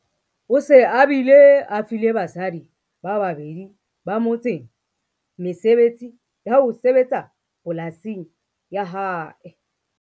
O se a bile a file basadi ba babedi ba motseng mesebetsi ya ho sebetsa polasing ya hae.